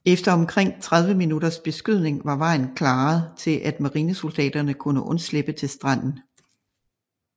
Efter omkring 30 minutters beskydning var vejen klaret til at marinesoldaterne kunne undslippe til stranden